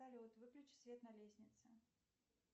салют выключи свет на лестнице